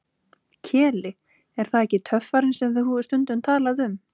Keli, er það ekki töffarinn sem þú hefur stundum talað um?